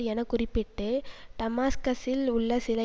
எனக்குறிப்பிட்டு டமாஸ்கசில் உள்ள சில